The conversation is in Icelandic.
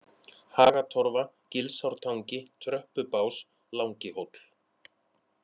Hagatorfa, Gilsártangi, Tröppubás, Langihóll